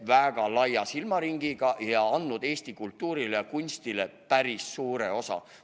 Nad on väga laia silmaringiga ja andnud Eesti kultuuri ja kunsti päris suure panuse.